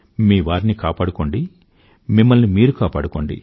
మీ వారిని కాపాడుకోండి మిమ్మల్ని మీరు కాపాడుకోండి